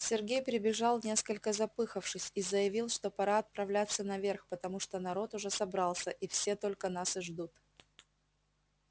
сергей прибежал несколько запыхавшись и заявил что пора отправляться наверх потому что народ уже собрался и все только нас и ждут